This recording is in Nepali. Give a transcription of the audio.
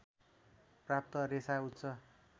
प्राप्त रेशा उच्च